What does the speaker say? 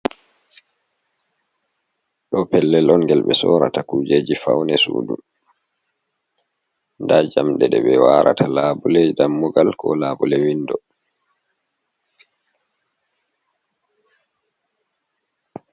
Ɗo pellel on gel be sorata kujeji faune suɗu. Nɗa jamɗe ɗe be warata labuleji ɗammugal ko labule winɗo.